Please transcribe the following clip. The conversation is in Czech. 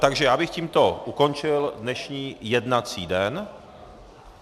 Takže já bych tímto ukončil dnešní jednací den.